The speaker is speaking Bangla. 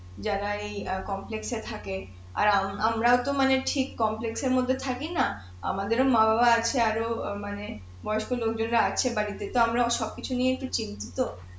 যারা এই অ্যাঁ এ থাকে আর আমরা তো মানে ঠিক এর মধ্যে থাকি না আমদের ও মা-বাবা আছে মানে বয়স্ক লোকজনরা আছে বাড়িতে তো আমরা সবকিছু নিয়ে চিন্তিত